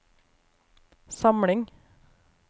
samling